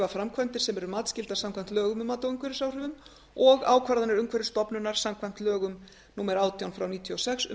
framkvæmdir sem eru matsskyldar samkvæmt lögum um mat á umhverfisáhrifum og ákvarðanir umhverfisstofnunar samkvæmt lögum númer átján nítján hundruð níutíu og sex um